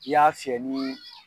I y'a fiyɛ ni